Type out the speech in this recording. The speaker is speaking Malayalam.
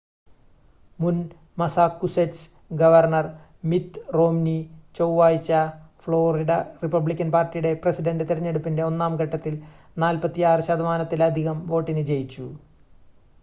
മുൻ മസ്സാകുസെറ്റ്സ് ഗവർണ്ണർ മിത് റോംനി ചൊവ്വഴ്ച ഫ്ലോറിഡ റിപ്പബ്ലിക്കൻ പാർട്ടിയുടെ പ്രെസിഡന്റ് തെരഞ്ഞെടുപ്പിന്റെ ഒന്നാം ഘട്ടത്തിൽ 46 ശതമാനത്തിലധികം വോട്ടിന് ജയിച്ചു